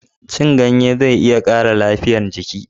cin ganye zai iya ƙara lafiyar jiki